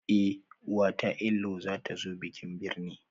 Eh uwata inlayw zatazo bikin birne